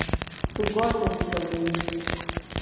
Tu gostas de fazer isso.